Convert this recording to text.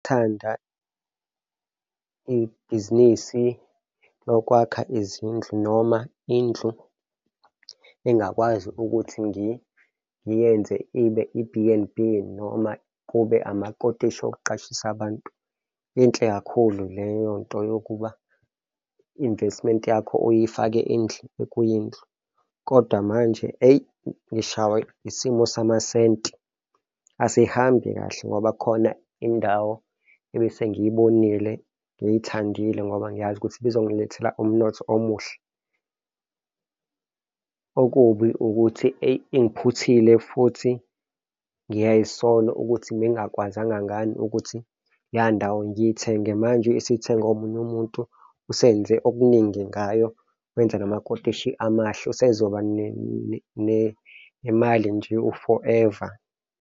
Ngithanda ibhizinisi lokwakha izindlu noma indlu engakwazi ukuthi ngiyenze ibe i-B_N_B noma kube amakotishi okuqashisa abantu. Inhle kakhulu, leyo nto yokuba i-investment yakho uyifake kwindlu. Kodwa manje, eyi, ngishawa isimo samasenti, asihambi kahle ngoba kukhona indawo ebesengiyibonile, ngiyithandile ngoba ngiyazi ukuthi ibizongilethela umnotho omuhle. Okubi ukuthi, eyi, ingiphuthile futhi ngiyay'sola ukuthi bengingakwazanga ngani ukuthi leya ndawo ngiyithenge, manje isizithengwe omunye umuntu usenze okuningi ngayo, wenza namakotishi amahle, usezoba nemali nje u-forever.